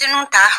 Denw ta